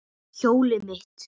Hjólið mitt!